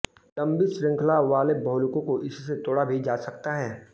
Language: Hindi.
लंबी श्रृंखला वाले बहुलकों को इससे तोड़ा भी जा सकता है